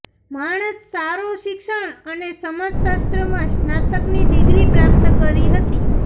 માણસ સારો શિક્ષણ અને સમાજશાસ્ત્ર માં સ્નાતકની ડિગ્રી પ્રાપ્ત કરી હતી